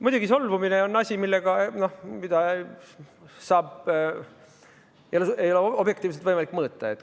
Muidugi, solvumine on asi, mida ei ole objektiivselt võimalik mõõta.